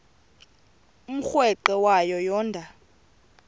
umrweqe wayo yoonda